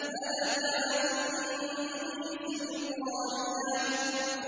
هَلَكَ عَنِّي سُلْطَانِيَهْ